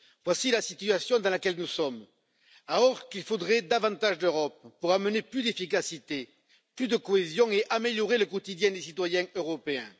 Voici la situation dans laquelle nous sommes, alors qu'il faudrait davantage d'Europe pour amener plus d'efficacité, plus de cohésion et améliorer le quotidien des citoyens européens.